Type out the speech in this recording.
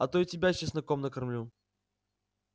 а то и тебя чесноком накормлю